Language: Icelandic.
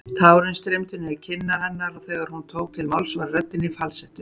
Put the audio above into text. Tárin streymdu niður kinnar hennar og þegar hún tók til máls var röddin í falsettu.